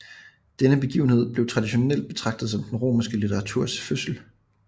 Denne begivenhed bliver traditionelt betragtet som den romerske litteraturs fødsel